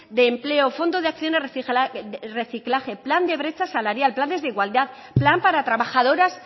de empleo fondos de acciones reciclaje plan de brechas salarial planes de igualdad plan para trabajadoras